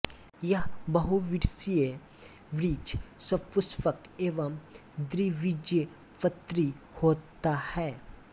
यह बहुवर्षीय वृक्ष सपुष्पक एवं द्विबीजपत्री होता है